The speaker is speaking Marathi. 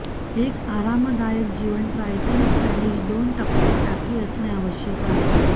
एक आरामदायक जीवन ट्रायटन स्पॅनिश दोन टप्प्यात टाकी असणे आवश्यक आहे